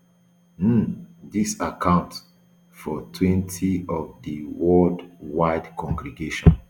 um dis account for twenty of di worldwide congregation